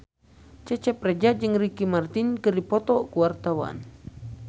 Cecep Reza jeung Ricky Martin keur dipoto ku wartawan